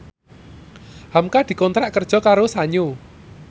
hamka dikontrak kerja karo Sanyo